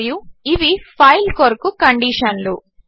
మరియు ఇవి ఫైల్ కొరకు కండీషన్లు